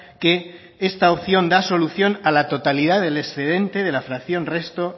que esta opción da solución a la totalidad del excedente de la fracción resto